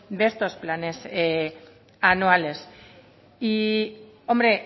de estos planes anuales y hombre